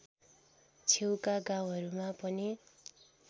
छेउका गाउँहरूमा पनि